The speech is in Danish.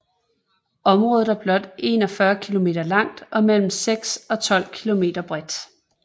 Området er blot 41 km langt og mellem 6 og 12 km bredt